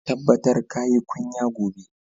Tabbatar ka yi kunya gobe!